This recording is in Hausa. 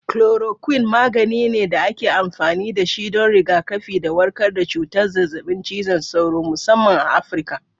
Chloroquine magani ne da ake amfani da shi don rigakafi da warkar da cutar zazzabin cizon sauro, musamman a Afirka.